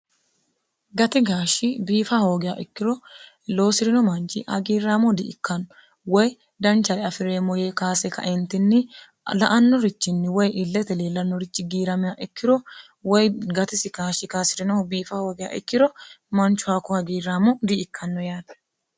gati gaashshi biifa hoogea ikkiro loosi'rino manchi hagiirraamo di ikkanno woy danchali afi'reemmo yee kaase kaentinni la annorichinni woy illete leellannorichi giiramea ikkiro woy gatisi kaashshi kaasi'rinoho biifa hoogea ikkiro manchu hakko hagiirraamo di ikkanno yaate